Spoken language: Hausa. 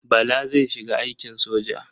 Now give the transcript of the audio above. Bala zai shiga aikin soja.